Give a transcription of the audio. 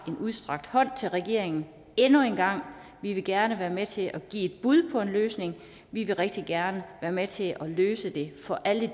en udstrakt hånd til regeringen endnu en gang vi vil gerne være med til at give et bud på en løsning vi vil rigtig gerne være med til at løse det for alle